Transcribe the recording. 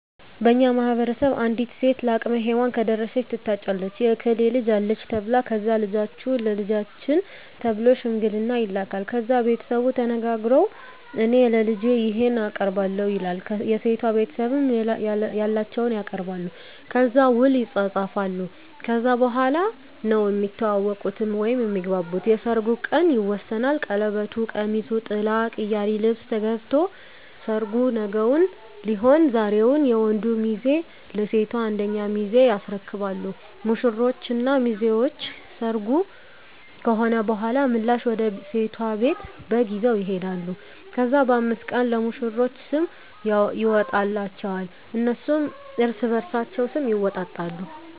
በእኛ ማህበረሰብ አንዲት ሴት ለአቅመ ሄዋን ከደረሰች ትታጫለች የእከሌ ልጅ አለች ተብላ ከዛ ልጃችሁን ለልጃችን ተብሎ ሽምግልና ይላካል። ከዛ ቤተሰቡ ተነጋግረዉ እኔ ለልጄ ይሄን አቀርባለሁ ይላል የሴቷ ቤተሰብም ያላቸዉን ያቀርባሉ። ከዛ ዉል ይፃፃፋሉ ከዛ በኋላ ነዉ እሚተዋወቁት (እሚግባቡት) የሰርጉ ቀን ይወሰናል ቀለበቱ፣ ቀሚሱ፣ ጥላ፣ ቅያሪ ልብስ ገዝቶ ሰርጉ ነገዉን ሊሆን ዛሬዉን የወንዱ ሚዜ ለሴቷ አንደኛ ሚዜ ያስረክባሉ። ሙሽሮች እና ሚዜዎች ሰርጉ ከሆነ በኋላ ምላሽ ወደ ሴቷ ቤት በግ ይዘዉ ይሄዳሉ። ከዛ በ5 ቀኑ ለሙሽሮች ስም ይወጣላቸዋል እነሱም እርስበርሳቸዉ ስም ይወጣጣሉ።